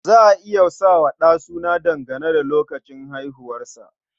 Za a iya sa wa ɗa suna dangane da lokacin haihuwarsa.